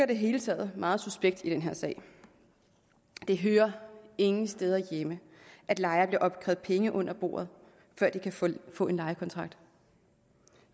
det hele taget meget suspekt i den her sag det hører ingen steder hjemme at lejere bliver afkrævet penge under bordet før de kan få få en lejekontrakt